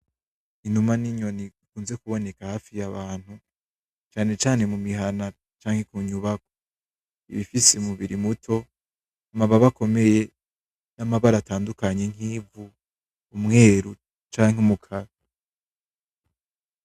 Inuma n'inyoni ikunze kuboneka hafi y'abantu canecane mu mihana canke ku nyubako ibifise mubiri muto amababa akomeye n'amabara atandukanyi nk'ivu umweru canke mu kara.